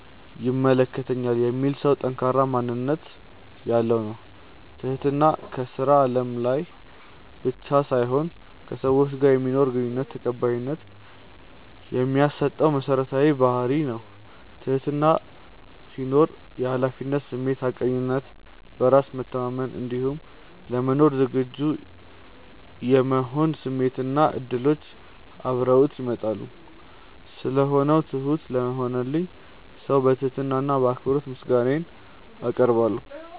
ይመለከተኛል የሚል ሰው ጠንካራ ማንነት ያለው ነው። ትህትና ከስራ አለም ላይ ብቻ ሳይሆን ከሰዎች ጋር በማኖረን ግንኙነት ተቀባይነት የሚያሰጠን መሰረታዊ ባህርይ ነው። ትህትና ሲኖር የሀላፊነት ስሜት፣ ሀቀኝነት፣ በራስ መተማመን እንዲሁም ለመማር ዝግጁ የመሆን ስሜቶች እና እድሎች አብረውት ይመጣሉ። ስለሆነው ትሁት ለሆነልኝ ሰው በትህትና እና በአክብሮት ምስጋናዬን አቀርባለሁ።